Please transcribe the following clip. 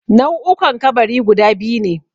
Nau'ukan kabari guda biyu ne